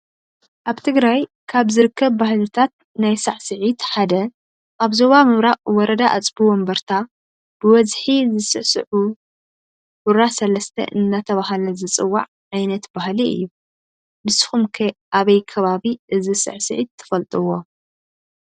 አብ ትግራይ ካብ ዝርከብ ባህልታተ ናይ ስዕሲዒት ሓደ አብ ዞባ ምብራቅ ወረዳ አፅውእምበረታ ብበዝሒ ዝስዕስዕዊ ሁራ ስለስተ እናተባሀለ ዝፅዋዕ ዓይነት ባሀሊ እዩ። ንስክም ከ አበይ ከባቢ እዚ ስዕሲዒት ትፈልጥዎ?